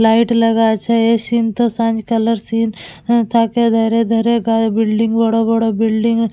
Light লাগা আছে এই সিন তো সাঁঝ কালের সিন । এ ধারে ধারে গায়ে বিল্ডিং বড় বড় বিল্ডিং ।